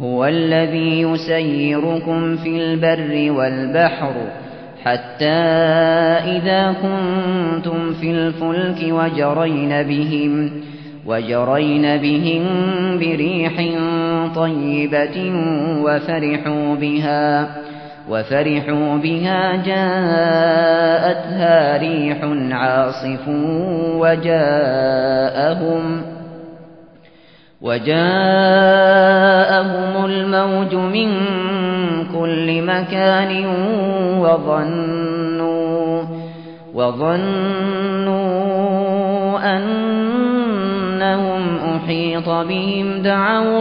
هُوَ الَّذِي يُسَيِّرُكُمْ فِي الْبَرِّ وَالْبَحْرِ ۖ حَتَّىٰ إِذَا كُنتُمْ فِي الْفُلْكِ وَجَرَيْنَ بِهِم بِرِيحٍ طَيِّبَةٍ وَفَرِحُوا بِهَا جَاءَتْهَا رِيحٌ عَاصِفٌ وَجَاءَهُمُ الْمَوْجُ مِن كُلِّ مَكَانٍ وَظَنُّوا أَنَّهُمْ أُحِيطَ بِهِمْ ۙ دَعَوُا